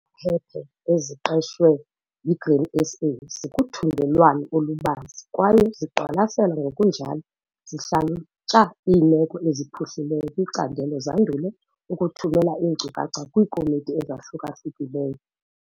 Iingcaphephe eziqeshwe yiGrain SA, zikuthungelwano olubanzi kwaye ziqwalasela ngokunjalo zihlalutya iimeko eziphuhlileyo kwicandelo zandule ukuthumela iinkcukacha kwiikomiti ezahluka-hlukileyo.